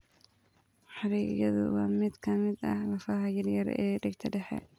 Xarigyadu waa mid ka mid ah lafaha yaryar ee dhegta dhexe.